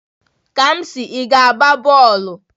Kamsi, ị ga-agba bọọlụ?